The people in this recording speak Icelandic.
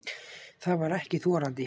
Það var ekki þorandi.